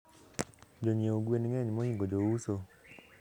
jonyiew gwen ngeny mhingo jouso